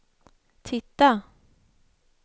titta